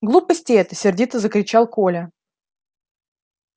глупости это сердито закричал коля